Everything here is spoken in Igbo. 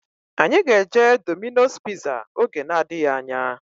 Anyị ga-eje Domino's piza oge na-adịghị anya